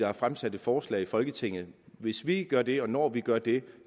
har fremsat et forslag i folketinget hvis vi gør det og når vi gør det